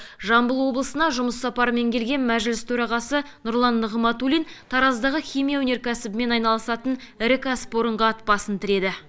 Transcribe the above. жамбыл облысына жұмыс сапарымен келген мәжіліс төрағасы нұрлан нығматулин тараздағы химия өнеркәсібімен айналысатын ірі кәсіпорынға ат басын тіреді